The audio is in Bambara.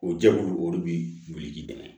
O jɛkulu o de bi wili k'i dɛmɛ